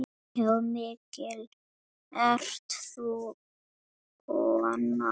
Já, mikil ert þú kona.